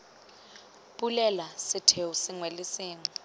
bulela setheo sengwe le sengwe